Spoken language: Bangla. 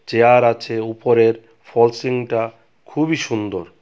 চেয়ার আছে উপরের ফলস সিলিংটা খুবই সুন্দর।